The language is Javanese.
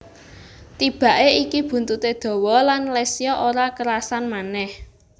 Tibake iki buntute dawa lan Lesya ora kerasan manèh